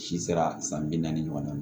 Si sera san bi naani ɲɔgɔnna ma